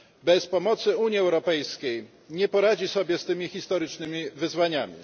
Bez pomocy Unii Europejskiej nie poradzi sobie z tymi historycznymi wyzwaniami.